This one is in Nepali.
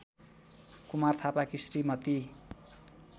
कुमार थापाकी श्रीमती